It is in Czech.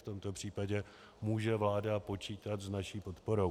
V tomto případě může vláda počítat s naší podporou.